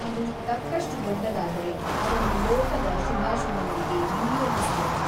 ಅದು ತಕ್ಕಷ್ಟು ದೊಡ್ಡದಾದರೆ ಅದನ್ನು ಲೋಕದ ಶುಭಾಶುಭಗಳಿಗೆ ವಿನಿಯೋಗಿಸುವರು.